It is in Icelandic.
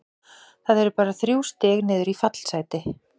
Það eru bara þrjú stig niður í fallsæti.